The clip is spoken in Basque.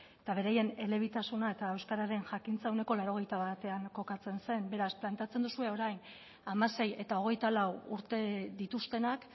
eta beraien elebitasuna eta euskararen jakintza ehuneko laurogeita batean kokatzen zen beraz planteatzen duzue orain hamasei eta hogeita lau urte dituztenak